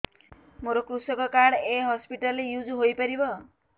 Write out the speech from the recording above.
ମୋର କୃଷକ କାର୍ଡ ଏ ହସପିଟାଲ ରେ ୟୁଜ଼ ହୋଇପାରିବ